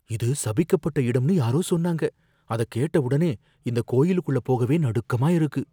இது சபிக்கப்பட்ட இடம்னு யாரோ சொன்னாங்க. அதக்கேட்ட உடனே இந்த கோயிலுக்குள்ள போகவே நடுக்கமா இருக்கு.